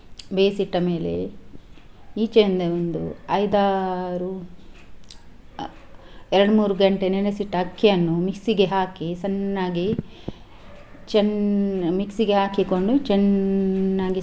ಬೇಯಿಸಿಟ್ಟ ಮೇಲೆ ಈಚೆಯಿಂದ ಒಂದು ಐದಾರು ಎರಡ್ ಮೂರ್ ಘಂಟೆ ನೆನೆಸಿಟ್ಟ ಅಕ್ಕಿಯನ್ನು mixie ಗೆ ಹಾಕಿ ಸಣ್ಣಾಗಿ ಚೆನ್ನ್ mixie ಗೆ ಹಾಕಿಕೊಂಡು ಚೆನ್ನ್.